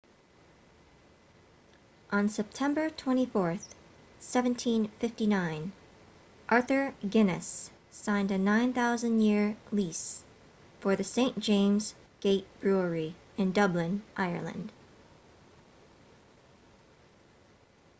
on september 24 1759 arthur guinness signed a 9,000 year lease for the st james' gate brewery in dublin ireland